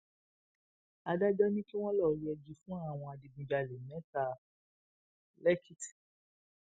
adájọ ni kí wọn lọọ yẹgi fún àwọn adigunjalè mẹta lẹkìtì